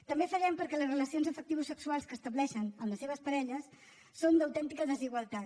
també fallem perquè les relacions afectivosexuals que estableixen amb les seves parelles són d’autèntica desigualtat